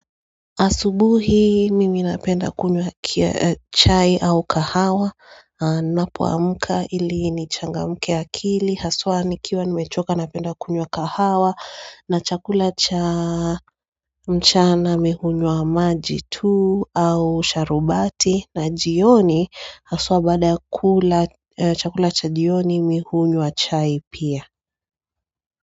Asubuhi mimi napenda kunywa chai au kahawa Ninapo amka ili ni changamke akili Haswa nikiwa nimechoka napenda kunywa kahawa na chakula cha mchana mimi hunywa maji tuu au sharubati na jioni haswa baada chakula cha jioni mimi hunywa chai pia.